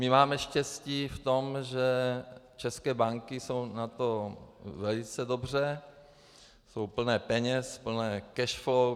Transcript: My máme štěstí v tom, že české banky jsou na tom velice dobře, jsou plné peněz, plné cash flow.